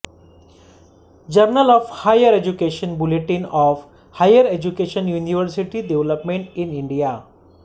journal of higher education bulletin of higher education university development in India